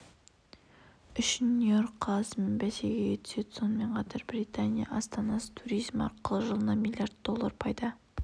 үшін нью-йорк қаласымен бәсекеге түседі сонымен қатар британия астанасы туризм арқылы жылына млрд доллар пайда